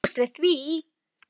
Hver gat búist við því?